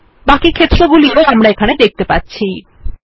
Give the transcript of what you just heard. বাকি ক্ষেত্র গুলিও আমরা এখানে দেখতে পারছি